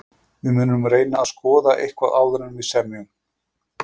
Við munum reyna að skoða eitthvað áður en við semjum.